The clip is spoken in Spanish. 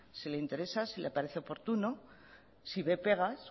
si le parece oportuno si ve pegas